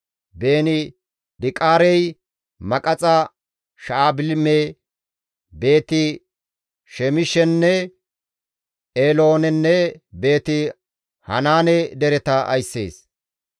Beeni-Diqaarey Maqaxa, Sha7albime, Beeti-Shemishenne Eeloonenne Beeti-Hanaane dereta ayssees.